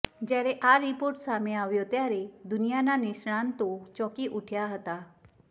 જ્યારે આ રિપોર્ટ સામે આવ્યો ત્યારે દુનિયાના નિષ્ણાંતો ચોંકી ઊઠ્યા હતા